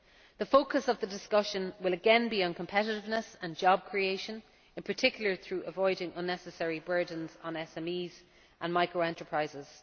The focus of the discussion will again be on competitiveness and job creation, in particular through avoiding unnecessary burdens on SMEs and micro enterprises.